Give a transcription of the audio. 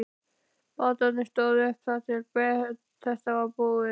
Bátarnir stóðu uppi þar til þetta var búið.